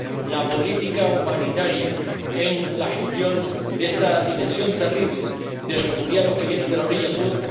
la política humanitaria en la gestión de esa dimensión terrible de refugiados que vienen de la orilla sur.